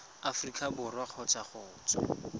aforika borwa kgotsa go tswa